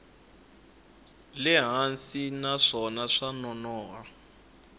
le hansi naswona swa nonoha